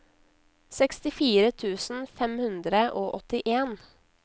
sekstifire tusen fem hundre og åttien